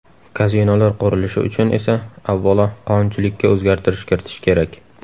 Kazinolar qurilishi uchun esa avvalo qonunchilikka o‘zgartirish kiritish kerak.